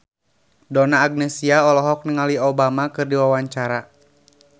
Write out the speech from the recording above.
Donna Agnesia olohok ningali Obama keur diwawancara